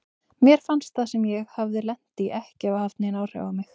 Mér fannst það sem ég hafði lent í ekki hafa haft nein áhrif á mig.